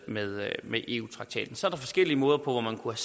med med eu traktaten så var der forskellige måder hvorpå man kunne